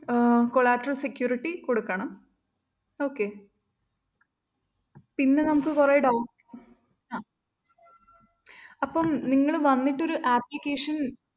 ആഹ് collateral security കൊടുക്കണം okay പിന്നെ നമുക്ക് കുറെ documents അഹ് അപ്പം നിങ്ങള്‍ വന്നിട്ടൊരു application